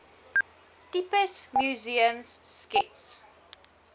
tipes museums skets